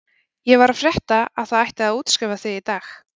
Ég var að frétta að það ætti að útskrifa þig í dag.